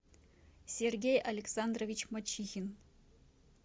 сергей александрович мачихин